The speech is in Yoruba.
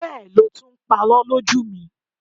Bẹ́ẹ̀ lo tún ń parọ́ lójú mi.